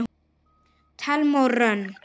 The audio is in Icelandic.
Thelma og Hrönn.